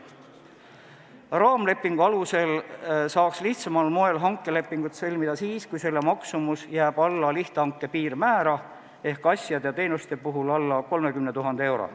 Raamlepingu alusel saaks lihtsamal moel hankelepingut sõlmida siis, kui selle maksumus jääb alla lihthanke piirmäära, st asjade ja teenuste puhul alla 30 000 euro.